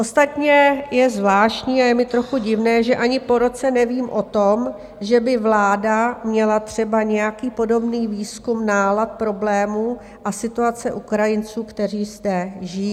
Ostatně je zvláštní a je mi trochu divné, že ani po roce nevím o tom, že by vláda měla třeba nějaký podobný výzkum nálad problémů a situace Ukrajinců, kteří zde žijí.